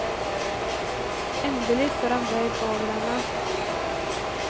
Endelig står han bøyd over henne.